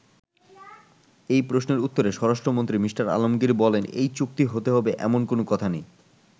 এ প্রশ্নের উত্তরে স্বরাষ্ট্রমন্ত্রী মি: আলমগির বলেন, “এই চুক্তি হতে হবে, এমন কোন কথা নেই।